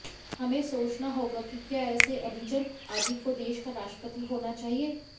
हमें सोचना होगा कि क्या ऐसे अभिजनवादी को देश का राष्ट्रपति होना चाहिए